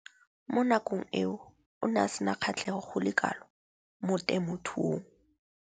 Mo nakong eo o ne a sena kgatlhego go le kalo mo temothuong.